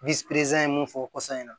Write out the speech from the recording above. ye mun fɔ kɔsɔn na